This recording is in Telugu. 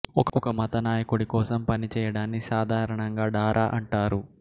ఒక మత నాయకుడి కోసం పనిచేయడాన్ని సాధారణంగా డారా అంటారు